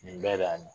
Nin bɛɛ de y'a na